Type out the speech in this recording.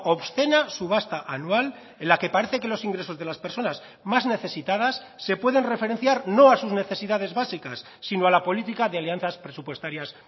obscena subasta anual en la que parece que los ingresos de las personas más necesitadas se pueden referenciar no a sus necesidades básicas sino a la política de alianzas presupuestarias